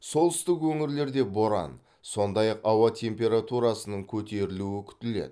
солтүстік өңірлерде боран сондай ақ ауа температурасының көтерілуі күтіледі